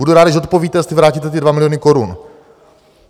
Budu rád, když odpovíte, jestli vrátíte ty dva miliony korun.